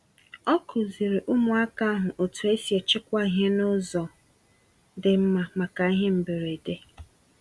Ọ kụziri ụmụaka ahụ otu esi echekwa ihe n'ụzọ dị mma maka ihe mberede.